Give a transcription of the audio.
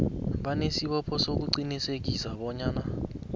banesibopho sokuqinisekisa bonyana